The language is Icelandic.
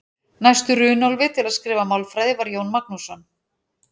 Næstur Runólfi til að skrifa málfræði var Jón Magnússon.